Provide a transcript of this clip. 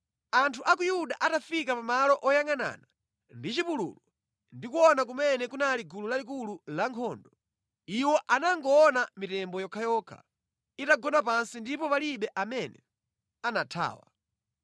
Anthu a ku Yuda atafika pa malo oyangʼanana ndi chipululu ndi kuona kumene kunali gulu lalikulu lankhondo, iwo anangoona mitembo yokhayokha itagona pansi ndipo palibe amene anathawa.